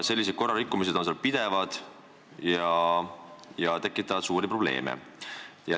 Sellised korrarikkumised on seal pidevad ja tekitavad suuri probleeme.